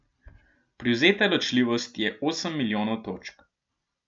Privzeta ločljivost je osem milijonov točk.